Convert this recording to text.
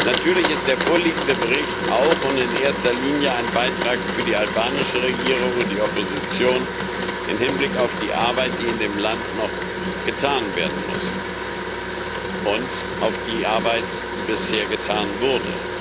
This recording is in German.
Natürlich ist der vorliegende Bericht auch und in erster Linie ein Beitrag für die albanische Regierung und die Opposition im Hinblick auf die Arbeit, die in dem Land noch getan werden muss, und auf die Arbeit, die bisher getan wurde.